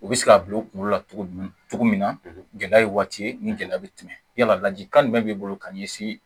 U bɛ se k'a bila u kunkolo la cogo ɲuman cogo min na gɛlɛya ye waati ni gɛlɛya bɛ tɛmɛ yala laji kan jumɛn b'i bolo ka ɲɛsin